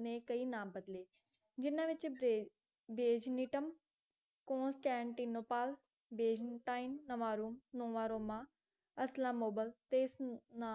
ਨੇ ਕਈ ਨਾਮ ਬਦਲੇ ਜਿਨ੍ਹਾਂ ਵਿੱਚ ਬੇਜ਼ਨੀਟਮ ਕੋਂਸਟੈਂਟੀਨੋਪੋਲ ਬੇਜੇਮੈਨਤਾਈਨ ਨਮਾਰੋਮ ਨਵਾਂ ਰੋਮਾ ਅਸਲਾਮੋਬਲ ਤੇ ਸੁਟਣਾ